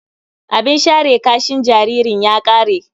Abin share kashin jaririn ya ƙare.